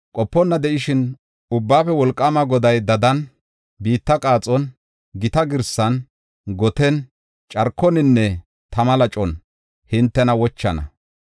Qoponna de7ishin, Ubbaafe Wolqaama Goday dadan, biitta qaaxon, gita girsan, goten, carkoninne tama lacon hintena wochana.